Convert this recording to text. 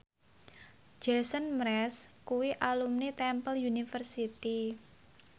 Jason Mraz kuwi alumni Temple University